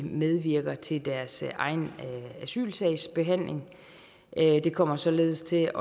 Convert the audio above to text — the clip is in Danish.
medvirker til deres egen asylsagsbehandling det kommer således til